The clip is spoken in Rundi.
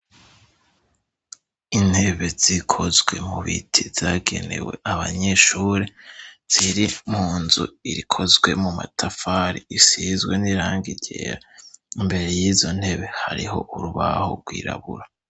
Intebe zikozwe mu biti zagenewe abanyeshuri, ziri munzu ikozwe mu matafari isizwe n'irangi ryera. Imbere y'izo ntebe hariho urubaho rwirabura.